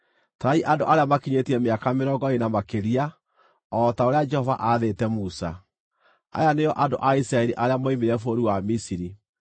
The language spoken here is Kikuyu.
“Tarai andũ arĩa makinyĩtie mĩaka mĩrongo ĩĩrĩ na makĩria, o ta ũrĩa Jehova aathĩte Musa.” Aya nĩo andũ a Isiraeli arĩa moimire bũrũri wa Misiri: